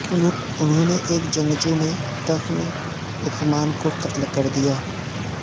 انہوں نے ایک جنگجو میں تخن عثمان کو قتل کر دیا